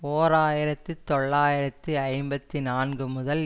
ஓர் ஆயிரத்தி தொள்ளாயிரத்தி ஐம்பத்தி நான்கு முதல்